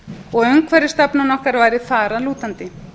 og umhverfisstefna okkar væri þar að lútandi